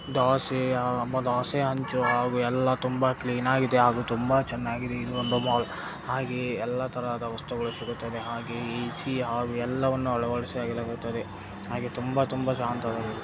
ದೋಸೆ ಹಂಚು ಹಾಗು ಎಲ್ಲಾ ತುಂಬಾ ಕ್ಲೀನ್ ಆಗಿದೆ ಹಾಗು ತುಂಬಾ ಚನ್ನಾಗಿದೆ ಇದು ಒಂದು ಮಾಲ್ ಹಾಗೆಯೇ ಎಲ್ಲಾ ತರಹದ ವಸ್ತುಗಳು ಸಿಗುತ್ತದೆ ಹಾಗೆಯೇ ಎ_ಸಿ ಹಾಗು ಎಲ್ಲವನ್ನು ಅಳವಡಿಸಿ ಹಾಗೆ ತುಂಬಾ ತುಂಬಾ ಶಾಂತವಾಗಿರುತ್ತದೆ.